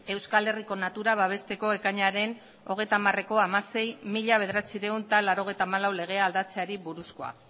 euskal herriko natura babesteko ekainaren hogeita hamareko hamasei barra mila bederatziehun eta laurogeita hamalau legea aldatzeari buruzkoa